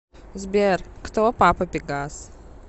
сбер кто папа пегас